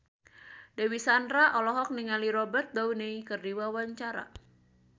Dewi Sandra olohok ningali Robert Downey keur diwawancara